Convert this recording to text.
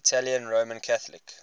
italian roman catholic